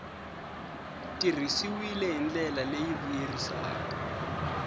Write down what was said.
tirhisiwile hi ndlela leyi vuyerisaka